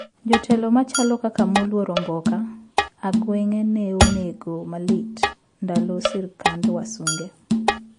Jotelo machalo kaka moluor omboka ,aguenge ne onegi malit ndalo sirkand wasunge